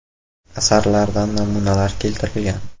Asarlaridan namunalar keltirilgan.